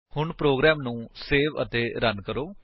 ਹੁਣ ਪ੍ਰੋਗਰਾਮ ਨੂੰ ਸੇਵ ਅਤੇ ਰਨ ਕਰੋ